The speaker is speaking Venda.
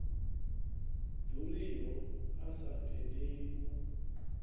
ḓuriho a sa tendeli u